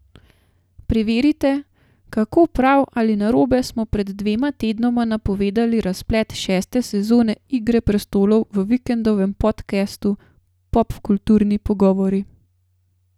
Preverite, kako prav ali narobe smo pred dvema tednoma napovedali razplet šeste sezone Igre prestolov v Vikendovem podcastu Popkulturni pogovori.